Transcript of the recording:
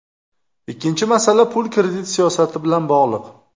Ikkinchi masala, pul-kredit siyosati bilan bog‘liq.